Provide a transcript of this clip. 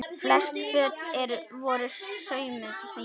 Flest föt voru saumuð heima.